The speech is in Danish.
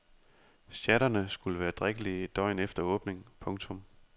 Sjatterne skulle være drikkelige et døgn efter åbning. punktum